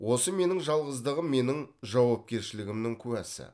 осы менің жалғыздығым менің жауапкершілігімнің куәсі